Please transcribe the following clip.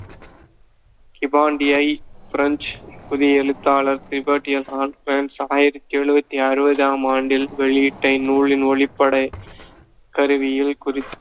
கிபான்டியை French புதிய எழுத்தாளர் ஆயிரத்தி அறுவத்தி அறுவதாம் ஆண்டில் வெளியிட்ட இந்நூலின் ஒளிப்பட கருவியில் குறி~